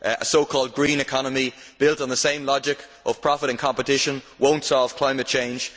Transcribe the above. A so called green economy built on the same logic of profit and competition will not solve climate change.